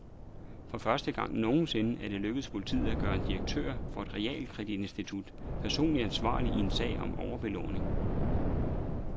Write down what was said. For første gang nogensinde er det lykkedes politiet at gøre en direktør for et realkreditinstitut personligt ansvarlig i en sag om overbelåning.